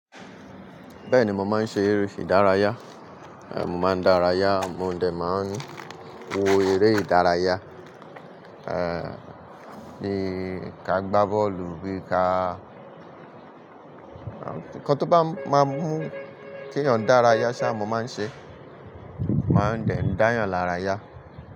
Bẹ́ẹ̀ni, mo máa ń ṣe eré ìdárayá. Mo máa ń dárayá, mo dẹ̀ máa ń wo eré ìdárayá. Eh, ni ká gbá bọ́ọ̀lù bí i ká ǹkan tó bá máa mú kí èèyàn dárayá ṣá, mo máa ń ṣe, màá dẹ̀ ń dáyàn lára yá.